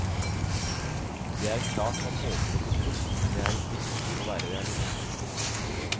Det er klart man håper å bli proff, men det er viktig å være realist.